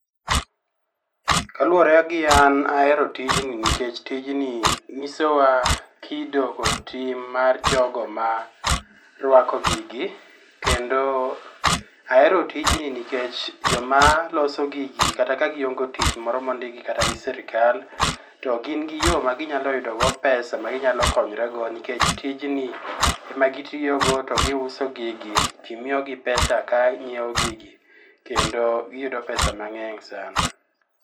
Kaluwore gi an ahero tijni nikech tijni nyiso wa kido kod tim mar jogo ma rwako gigi. Kendo ahero tijni nikech joma loso gigi kata ka gihongo tich moro mondikgi kata gi sirikal to gin gi yo ma ginyalo yudo do pesa maginyalo konyre go nikech tijni e ma gitiyogo to gi uso gigi to miyogi pesa ka ng'iew gigi kendo giyudo pesa mang'eny sana.